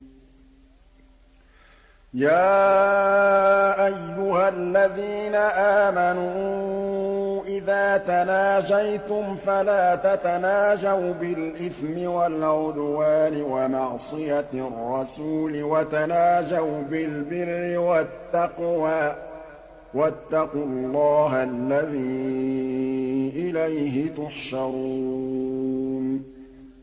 يَا أَيُّهَا الَّذِينَ آمَنُوا إِذَا تَنَاجَيْتُمْ فَلَا تَتَنَاجَوْا بِالْإِثْمِ وَالْعُدْوَانِ وَمَعْصِيَتِ الرَّسُولِ وَتَنَاجَوْا بِالْبِرِّ وَالتَّقْوَىٰ ۖ وَاتَّقُوا اللَّهَ الَّذِي إِلَيْهِ تُحْشَرُونَ